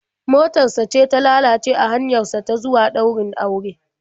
Motar sa ce ta lalace a hanyar sa ta zuwa ɗaurin auren.